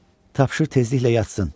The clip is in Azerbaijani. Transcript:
Tapşır tezliklə yatsın."